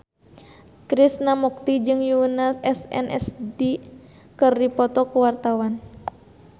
Krishna Mukti jeung Yoona SNSD keur dipoto ku wartawan